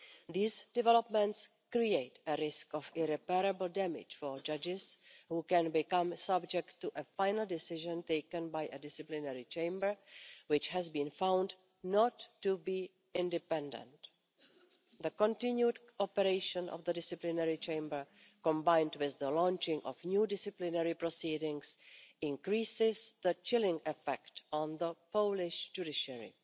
These developments create a risk of irreparable damage for judges, who may become subject to a final decision taken by a disciplinary chamber which has been found not to be independent. The continued operation of the disciplinary chamber, combined with the launching of new disciplinary proceedings, increases the chilling effect on the Polish judiciary.